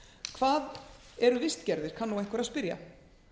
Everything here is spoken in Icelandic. hvað eru vistgerðir kann nú einhver að spyrja